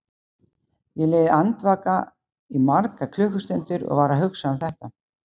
Ég lá andvaka í margar klukkustundir og var að hugsa um þetta.